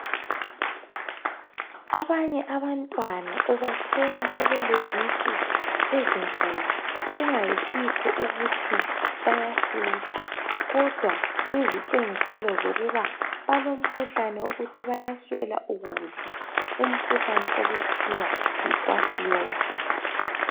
Abanye abantwana ubathola sebelezisu ezinkulu kungasikho ukuthi bayasutha kodwa kuyizitshengiselo zokuba balomkhuhlane wokuthi bayaswela ukudla umkhuhlane okuthiwa yi kwashiorkor.